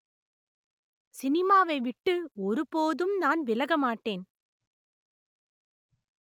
சினிமாவை விட்டு ஒருபோதும் நான் விலக மாட்டேன்